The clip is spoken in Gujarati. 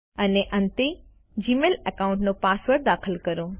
અને અંતે જીમેઇલ એકાઉન્ટનો પાસવર્ડ દાખલ કરો